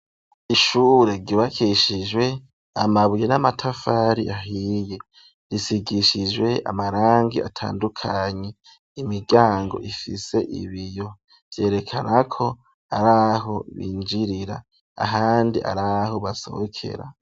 Ishure ryubakishijwe amabuye n'amatafari ahiye, risigishijwe amarangi atandukanye imiryango ifise ibiyo vyerekana ko araho binjirira ,ahandi araho basohokera.